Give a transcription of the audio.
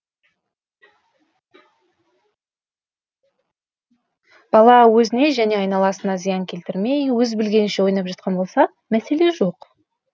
бала өзіне және айналасына зиян келтірмей өз білгенінше ойнап жатқан болса мәселе жоқ